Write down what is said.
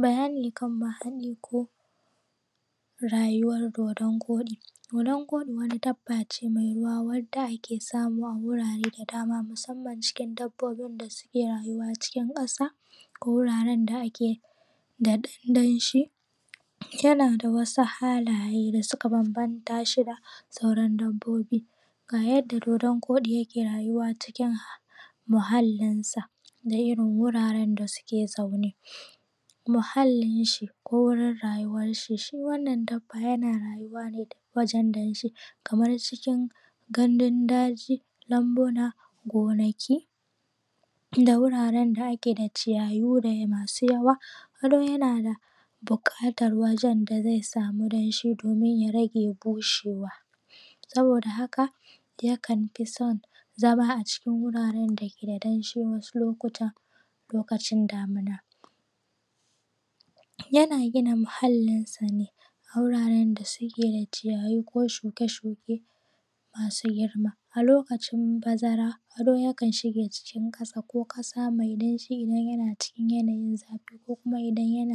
Bayani kan mahaɗi ko rayuwar dodon koɗi. Dodon koɗi wani dabba ce mai ruwa wanda ake samu a wurare da dama musamman cikin dabbobin da suke rayuwa cikin ƙasa ko wuarren da ake da ɗan danshi. Yana da wasu halaye da suka bambamta shi da sauran dabbobi. Ga yadda dodon koɗi yake rayuwa a cikin muhallinsa da irin wuraren da suke zaune. Muhallin shi da wurin da rayuwan shi. Shi wanna dabba yana rayuwa ne duk wajen danshi kamar cikin gandun daji, lambuna, gonaki da wuraren da ake da ciyayi masu yawa, kuma yana buƙatar wajen da zai samu danshi domin ya rage bushewa. Saboda hak yakan fi son zama a cikin wuraren da ke da danshi wasu Lokutan, lokacin damina. Yana gina muhallinsa ne a wuraren da suke da ciyayi ko shuke shuke masu girma. A lokachin bazara ado yakan shige cikin ƙasa ko ƙasa mai danshi idan yana cikin yanayin zafi ko kuma idan